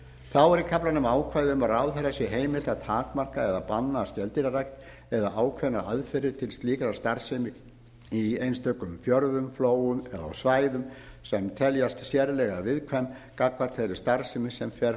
þá er í kaflanum ákvæði um að ráðherra sé heimilt að takmarka eða banna skeldýrarækt eða ákveðnar aðferðir til slíkrar starfsemi í einstökum fjörðum flóum eða á stæðum sem teljast sérlega viðkvæm gagnkvæmt þeirri starfsemi sem fer